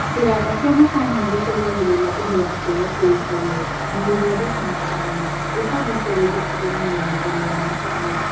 Kĩganda kĩa macani nĩgĩteithagĩrĩria ũgendi kũrĩa kũĩkaine na gũthondeka macani, gũkagucĩrĩria ageni mĩgũndainĩ ya macani